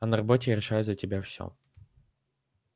а на работе я решаю за тебя всё